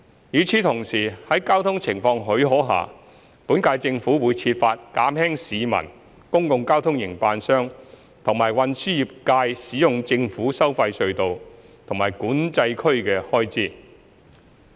與此同時，在交通情況許可下，本屆政府會設法減輕市民、公共交通營辦商及運輸業界使用政府收費隧道和管制區的開支。